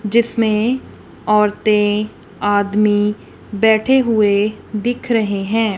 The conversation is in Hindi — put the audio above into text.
जिसमें औरतें आदमी बैठे हुए दिख रहे हैं।